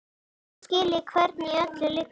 Nú skil ég hvernig í öllu liggur.